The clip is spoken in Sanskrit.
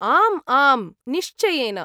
आम् आम्, निश्चयेन।